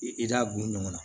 I da b'u ɲɔgɔn na